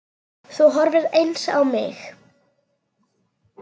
Þú horfir eins á mig.